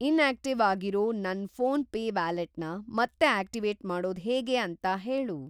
Inactive ಆಗಿರೋ ನನ್ನ PhonePe ವ್ಯಾಲೆಟ್‌ನ ಮತ್ತೆ ಆಕ್ಟಿವೇಟ್‌ ಮಾಡೋದ್‌ ಹೇಗೆ ಅಂತ ಹೇಳು.